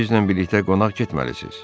Axı bizimlə birlikdə qonaq getməlisiz.